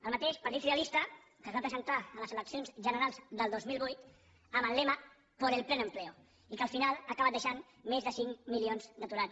el mateix partit socialista que es va presentar a les eleccions generals del dos mil vuit amb el lema por el pleno empleo i que al final ha acabat deixant més de cinc milions d’aturats